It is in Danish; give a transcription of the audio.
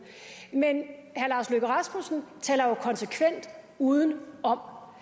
men herre lars løkke rasmussen taler jo konsekvent udenom herre